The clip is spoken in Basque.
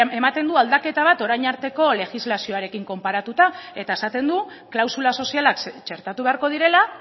ematen du aldaketa bat orain arteko legislazioarekin konparatuta eta esaten du klausula sozialak txertatu beharko direla